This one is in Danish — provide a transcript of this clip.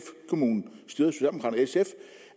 kommune styret